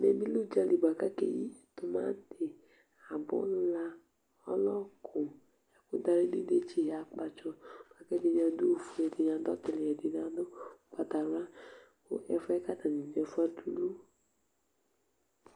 ɛmɛ bi lɛ udzali boa k'ake yi tomati abòla ɔlɔku ɛkò dawli idetsi akpatsɔ la kò ɛdini adu ofue ɛdini adu la kò ɛdini adu ugbata wla kò ɛfuɛ k'atani do ɛfuɛ adulu